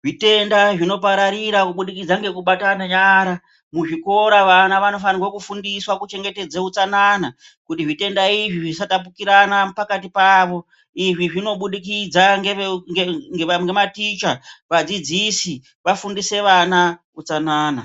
zvitenda zvinopararira kubudikidza ngekubatane nyara muzvikora vana vanofanike kufundiswa kuchengetedze utsanana kuti zvitenda izvi zvisatapukirana pakati pavo izvizvinobudikidza ngeveu nge ngematicha vadzidzisi vafundise vana utsanana.